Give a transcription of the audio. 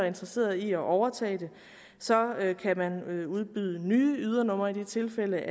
interesseret i at overtage det så kan man udbyde nye ydernumre i de tilfælde